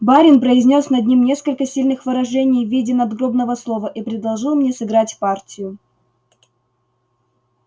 барин произнёс над ним несколько сильных выражений в виде надгробного слова и предложил мне сыграть партию